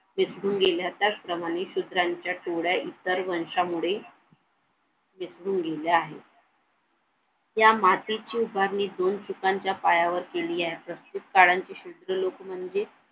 विसरून गेल्या त्याचप्रमाणे शूद्रांच्या डोळ्या इतर वंशामुळे विसरून गेले आहे या मातीच्या उभारणीतून पिकांच्या पायावर केली असं शुद्ध लोक म्हणजे